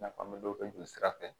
I n'a fɔ an bɛ dɔ kɛ jolisira fɛ